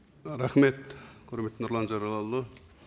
рахмет құрметті нұрлан зайроллаұлы